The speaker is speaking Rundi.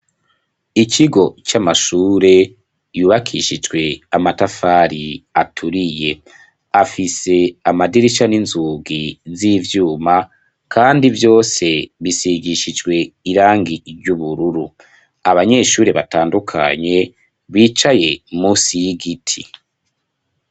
Ikigigo c`amashuri yubakishijwe amatafari aturiye afise amadirisha n`inzugi z`ivyuma kandi vyose bisigishijwe irangi ry`ubururu abanyeshuri batandukanye bicaye munsi y`igiti.